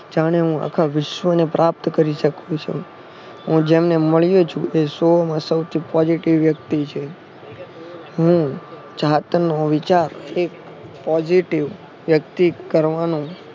જાણે હું આખાં વિશ્વને પ્રાપ્ત કરી શકું છું. હું જેમને મળ્યો છું એ સૌથી positive વ્યક્તિ છે હું જાત નો વિચાર એક positive વ્યક્તિ કરવાનો